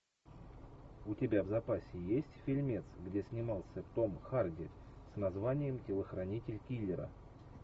у тебя в запасе есть фильмец где снимался том харди с названием телохранитель киллера